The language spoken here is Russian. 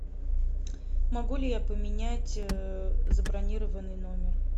могу ли я поменять забронированный номер